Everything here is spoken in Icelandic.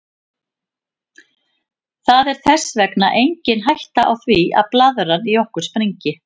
Það er þess vegna engin hætta á því að blaðran í okkur springi.